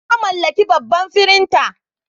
Na mallaki babban firinta.